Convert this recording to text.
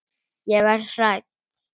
Ég verð hrædd.